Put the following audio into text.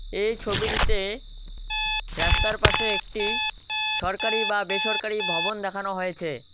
এই ছবিটিতে রাস্তার পাশে একটি সরকারি বা বেসরকারি ভবন দেখানো হয়েছে।